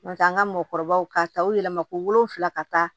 N'o tɛ an ka mɔgɔkɔrɔbaw k'a ta u yɛlɛma ko wolonfila ka taa